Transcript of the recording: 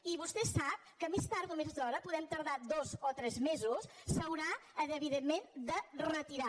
i vostè sap que més tard o més d’hora podem tardar dos o tres mesos s’haurà evidentment de retirar